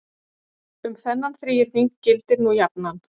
Um þennan þríhyrning gildir nú jafnan